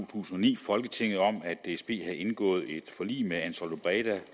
tusind og ni folketinget om at dsb havde indgået et forlig med ansaldobreda